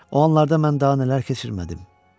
O anlarda mən daha nələr keçirmədim?